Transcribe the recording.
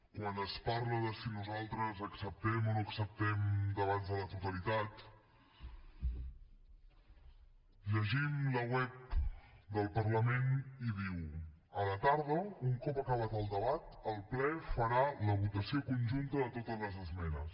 quan es parla de si nosaltres acceptem o no acceptem debats a la totalitat llegim la web del parlament i diu a la tarda un cop acabat el debat el ple farà la votació conjunta de totes les esmenes